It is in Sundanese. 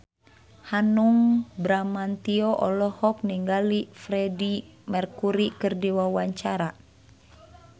Hanung Bramantyo olohok ningali Freedie Mercury keur diwawancara